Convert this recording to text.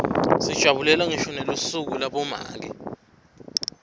sijabulela ngisho nelisuku labomake